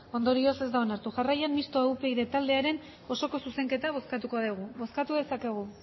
ondorioz ez da onartu jarraian mistoa upyd taldearen osoko zuzenketa bozkatuko dugu bozkatu dezakegu